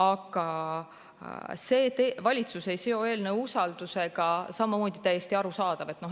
Aga see, et valitsus ei seo eelnõu usaldushääletusega, on samamoodi täiesti arusaadav.